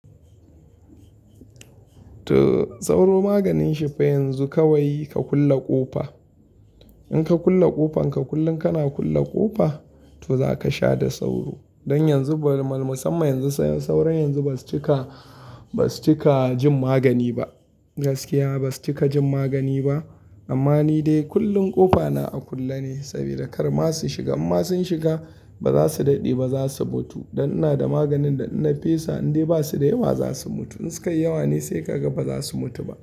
To sauro maganin shi fa yanzu kawai ka kulle ƙofa. In ka kulle ƙofan ka, kullum kana kulle ƙofa to za ka sha da sauro. Don yanzu ba musamman yanzu sauro yanzu ba su cika, ba su cika jin magani ba. Gaskiya ba su cika jin magani ba. Amma ni dai kullum ƙofa na a kulle ne saboda kar ma su shiga. In ma sun shiga ba za su daɗe ba za su mutu. Don ina da maganin da ina fesa, in dai ba su da yawa za su mutu. In su kai yawa ne sai ka ga ba za su mutu ba.